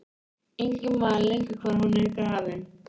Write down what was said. Enginn man lengur hvar hún er grafin.